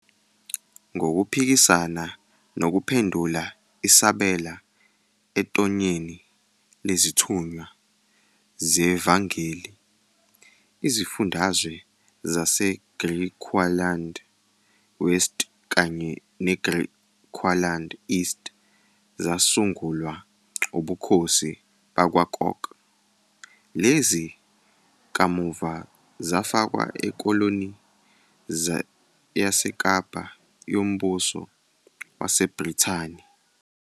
Ngokuphikisana nokuphendula isabela ethonyeni lezithunywa zevangeli, izifundazwe zaseGriqualand West kanye neGriqualand East zasungulwa ubukhosi bakwaKok, lezi kamuva zafakwa eKoloni YaseKapa yoMbuso WaseBrithani.